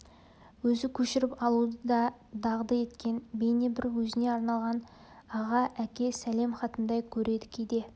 өзі көшіріп алуды да дағды еткен бейне бір өзіне арналған аға әке сәлем хатындай көреді кейде